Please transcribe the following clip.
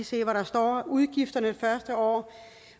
se hvad der står udgifterne første år